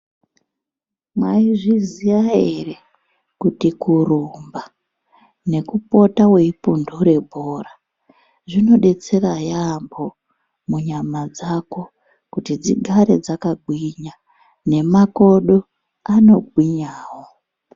Mwaizviziya ere kuti kurumba nekupote weipundure bhora zvinodetsera yaambo munyama dzako kuti dzigare dzakagwinya nemakodo anogwinyawo.